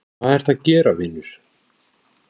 hvað ertu að gera vinur????